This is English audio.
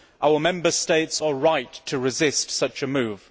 Our Member States are right to resist such a move.